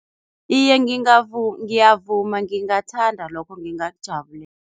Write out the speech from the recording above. Iye, ngiyavuma, ngingathanda lokho